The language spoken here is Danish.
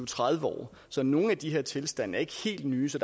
tredive år så nogle af de her tilstande er ikke helt nye så